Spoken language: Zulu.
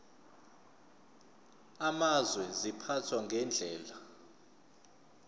amazwe ziphathwa ngendlela